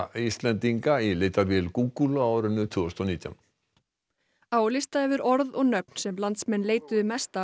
Íslendinga í leitarvélinni Google á árinu tvö þúsund og nítján á lista yfir orð og nöfn sem landsmenn leituðu mest að